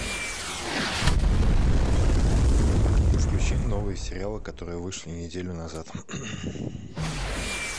включи новые сериалы которые вышли неделю назад